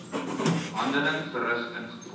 handeling verrig ingevolge